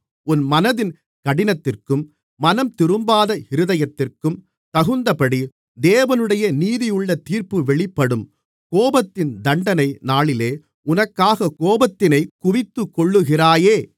உன் மனதின் கடினத்திற்கும் மனம்திரும்பாத இருதயத்திற்கும் தகுந்தபடி தேவனுடைய நீதியுள்ள தீர்ப்பு வெளிப்படும் கோபத்தின் தண்டனை நாளிலே உனக்காகக் கோபத்தினைக் குவித்துக்கொள்ளுகிறாயே